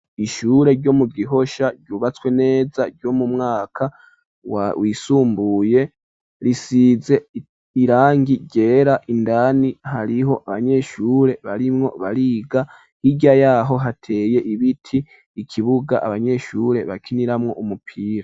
Ishure ryo mu Gihosha ryubatswe neza ryo mu mwaka wa wisumbuye ,risize irangi ryera indani hariho abanyeshure barimwo bariga, hirya yaho hateye ibiti, ikibuga abanyeshure bakiniramwo umupira.